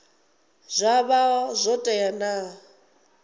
zwa vha zwo tea na